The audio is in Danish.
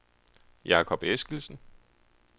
Jacob Eskildsen